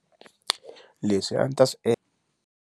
Leswi a ni ta swi .